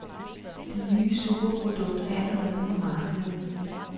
Det nye superprodukt er allerede på markedet.